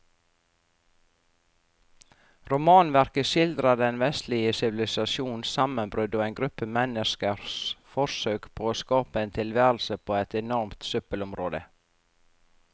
Romanverket skildrer den vestlige sivilisasjons sammenbrudd og en gruppe menneskers forsøk på å skape en tilværelse på et enormt søppelområde.